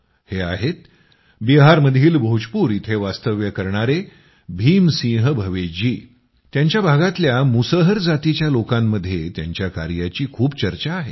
हे आहेत बिहारमधील भोजपूर इथं वास्तव्य करणारे भीम सिंह भवेश जी त्यांच्या भागातल्या मुसहर जातीच्या लोकांमध्ये त्यांच्या कार्याची खूप चर्चा आहे